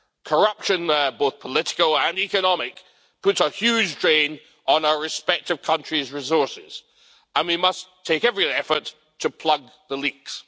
Corruption, both political and economic, puts a huge drain on our respective countries' resources, and we must take every effort to plug the leaks.